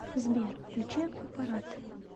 сбер включи акьюпарат